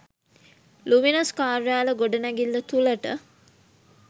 luminous කාර්යාල ගොඩනැගිල්ල තුළට